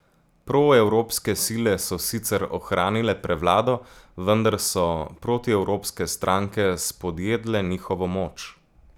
Proevropske sile so sicer ohranile prevlado, vendar so protievropske stranke spodjedle njihovo moč.